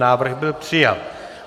Návrh byl přijat.